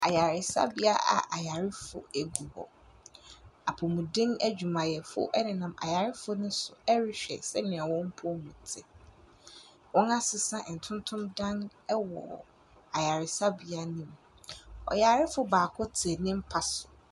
Ayaresabea a ayarefo gu hɔ. Apomuden adwumayɛfo nenam ayarefo no so rehwɛ sɛnea wɔn mpom te. Wɔasesa ntontom dan wɔ ayaresabea no mu. Ɔyarefo baako te ne mpa so.